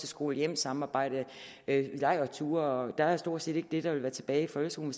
skole hjem samarbejdet lejrture og der er stort set ikke det der vil være tilbage i folkeskolen